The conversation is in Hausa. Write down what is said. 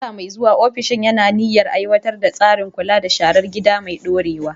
A shekara mai zuwa, ofishin yana da niyyar aiwatar da tsarin kula da sharar gida mai ɗorewa.